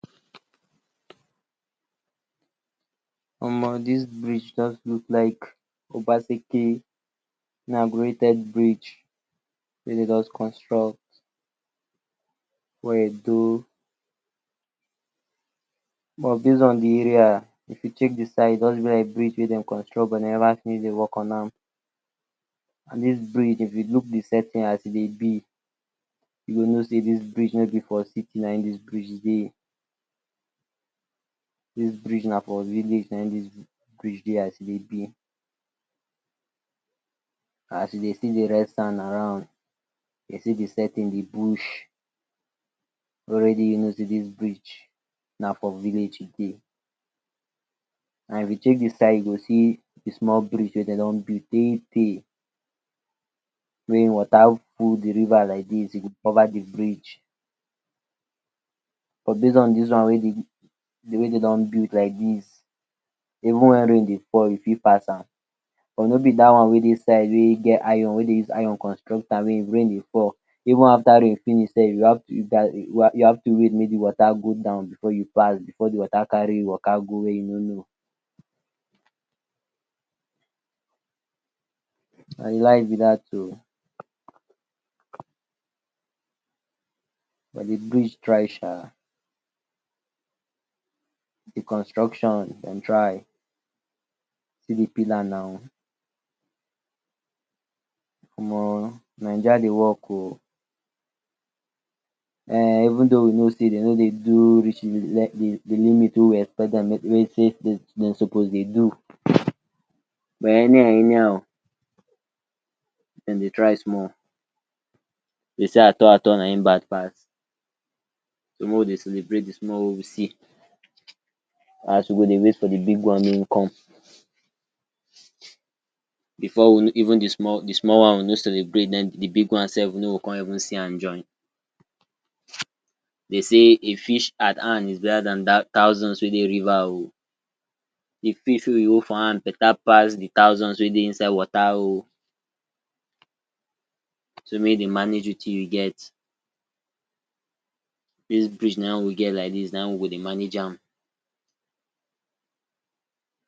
Omo dis bridge jus look like obaseke bridge wey dem jus construct wey e dey, base on de area if u check de side everywhere wey dem construct, or dey work on am, dis bridge if u look de settings as e dey b u go know sey dis bridge no b for city na hin dis bridge dey, dis bridge na for village na hin dis bridge dey as e dey be, as you dey see around, u dey see de setting de bush already u know sey dis bridge na for village e dey, and if u check de side u go see de small bridge wey dem don build tey tey, wey water ful de river like dis e dey cover de bridge, but base wey dem don build like dis, even wen rain dey fall u fit pass am, but no b dat one wey dey side wey get iron wey dem use iron construct am, wen if rain dey fall even after rain finish, u have to wait make de water go down before u pass, before de water carry u Waka go where u no no, na de life b dat oh, but de bridge try um, de construction dem try, see de pillar naw, Omo naija dey work oh even tho we know sey de no dey do reach de way we expect dem make dem suppose dey do, but anyhow anyhow dem dey try small, dem sey at all at all na hin bad pass, so mey we dey celebrate de small wey we see, as we go dey wait for de big one mey hin come, before even de small one we no celebrate den de big one we no go con even see an join, dey say a fish at hand better pass thousands wey dey River oh, de fish wey we hold for hand better pass de thousand wey dey inside water oh, so make u dey manage Wetin u get, dis bridge na hin we get like dis na hin we go dey manage am.